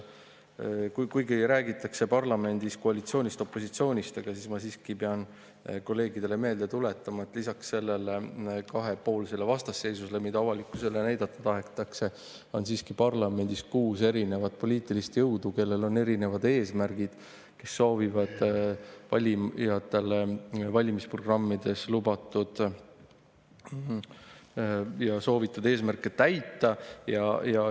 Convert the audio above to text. Kuigi parlamendis räägitakse koalitsioonist ja opositsioonist, ma pean siiski kolleegidele meelde tuletama, et lisaks sellele kahepoolsele vastasseisule, mida avalikkusele näidata tahetakse, on parlamendis kuus erinevat poliitilist jõudu, kellel on erinevad eesmärgid, kes soovivad valimisprogrammides lubatud ja soovitud eesmärke täita.